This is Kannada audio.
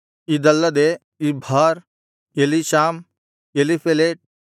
ಇದಲ್ಲದೆ ಇಬ್ಹಾರ್ ಎಲೀಷಾಮ್ ಎಲೀಫೆಲೆಟ್